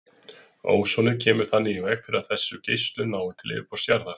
Ósonið kemur þannig í veg fyrir að þessu geislun nái til yfirborðs jarðar.